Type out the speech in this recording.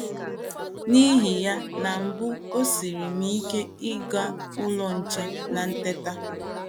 “ N’ihi ya, na mbụ o siiri m ike ịgụ Ụlọ Nche na Teta!